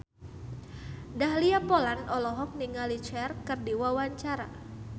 Dahlia Poland olohok ningali Cher keur diwawancara